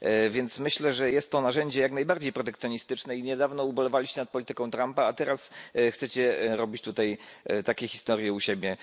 Więc myślę, że jest to narzędzie jak najbardziej protekcjonistyczne i niedawno ubolewaliście nad polityką Trumpa, a teraz chcecie robić tutaj takie historie u siebie.